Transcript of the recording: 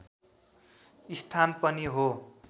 स्थान पनि हो